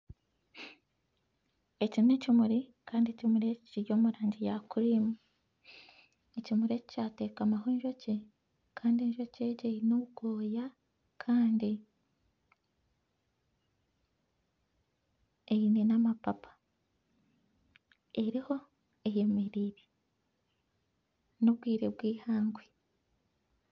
Eki n'ekimuri Kandi ekimuri eki kiri omu rangi ya kurimu ekimuri eki kyatekamwaho enjoki Kandi enjoki egi eyine obwoya Kandi eine nana amapapa, eriho eyemereire n'obwire bw'ehangwe